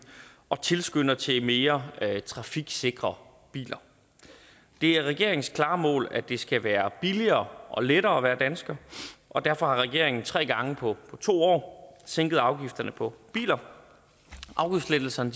og tilskynder til mere trafiksikre biler det er regeringens klare mål at det skal være billigere og lettere at være dansker og derfor har regeringen tre gange på to år sænket afgifterne på biler afgiftslettelserne